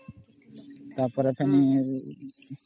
ତା ପରେ ଫେନି